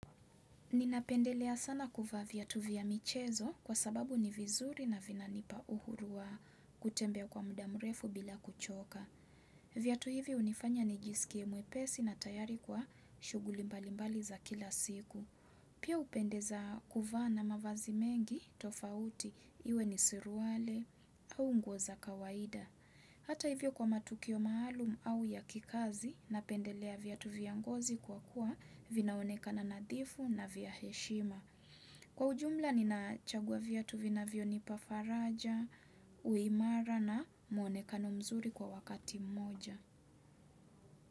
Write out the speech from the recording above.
Ninapendelea sana kuvaa viatu vya michezo kwa sababu ni vizuri na vina nipa uhuru wa kutembea kwa muda mrefu bila kuchoka. Viatu hivi hunifanya nijisikie mwepesi na tayari kwa shughuli mbalimbali za kila siku. Pia hupendeza kuvaa na mavazi mengi tofauti iwe ni suruwali au nguo za kawaida. Hata hivyo kwa matukio maalum au ya kikazi napendelea viatu vya ngozi kwa kuwa vinaoneka nadhifu na vya heshima. Kwa ujumla ninachagua viatu vinavyonipa faraja, uimara na muonekano mzuri kwa wakati moja.